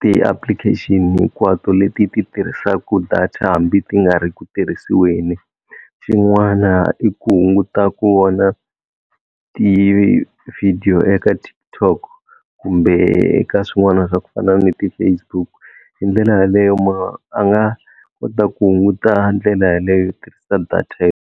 ti-application hinkwato leti ti tirhisaka data hambi ti nga ri ku tirhisiweni, xin'wana i ku hunguta ku vona ti-video eka TikTok kumbe ka swin'wana swa ku fana ni ti-Facebook hi ndlela yaleyo munhu a nga kota ku hunguta ndlela yaleyo tirhisa data .